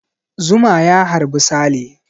Zuma ya harbi Sale.